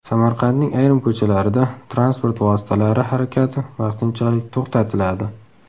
Samarqandning ayrim ko‘chalarida transport vositalari harakati vaqtinchalik to‘xtatiladi.